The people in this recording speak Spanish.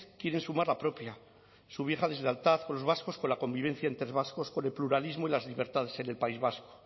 quiere sumar la propia su vieja deslealtad con los vascos con la convivencia entre vascos con el pluralismo y las libertades en el país vasco